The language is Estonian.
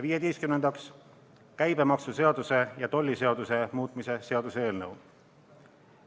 Viieteistkümnendaks, käibemaksuseaduse ja tolliseaduse muutmise seaduse eelnõu.